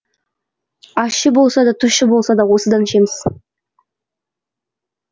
ащы болса да тұщы болса да осыдан ішеміз